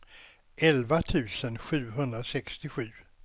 elva tusen sjuhundrasextiosju